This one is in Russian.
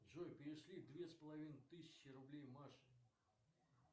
джой перешли две с половиной тысячи рублей маше